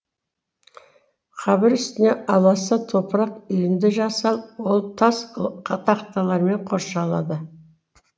қабір үстіне аласа топырақ үйінді жасал ол тас тақталармен қоршалады